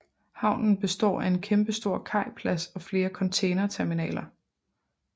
Havnen består af en kæmpestor kajplads og flere containerterminaler